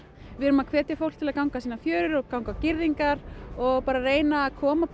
við erum að hvetja fólk til þess að ganga sínar fjörur ganga á girðingar og bara að reyna að koma